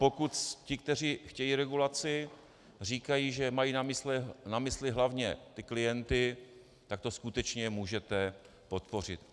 Pokud ti, kteří chtějí regulaci, říkají, že mají na mysli hlavně ty klienty, tak to skutečně můžete podpořit.